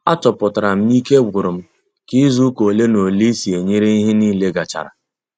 A chọpụtara m na ike gwụrụ m ka izu ụka ole na ole ịsị ee nyere ihe nile gachara